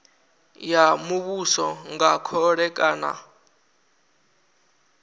ya muvhuso nga khole kana